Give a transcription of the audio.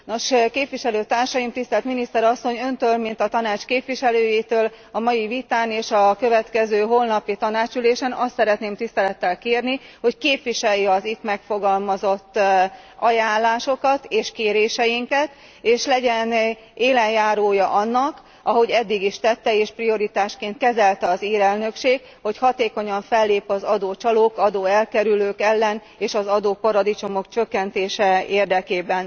Nos, képviselőtársaim, Tisztelt Miniszter Asszony, Öntől, mint a Tanács képviselőjétől a mai vitán és a következő holnapi tanácsülésen azt szeretném tisztelettel kérni, hogy képviselje az itt megfogalmazott ajánlásokat és kéréseinket, és legyen élenjárója annak, ahogy eddig is tette, és prioritásként kezelte az ír elnökség, hogy hatékonyan fellép az adócsalók, adóelkerülők ellen és az adóparadicsomok csökkentése érdekében.